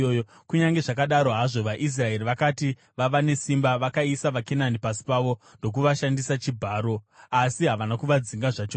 Kunyange zvakadaro hazvo, vaIsraeri vakati vava nesimba, vakaisa vaKenani pasi pavo ndokuvashandisa chibharo, asi havana kuvadzinga zvachose.